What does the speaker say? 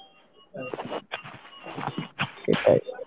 সেটাই